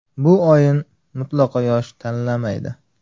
Bu oyin mutlaqo yosh tanlamaydi.